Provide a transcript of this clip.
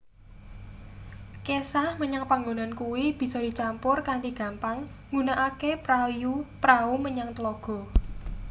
kesah menyang panggonan kuwi bisa dicampur kanthi gampang nggunakake prau menyang tlaga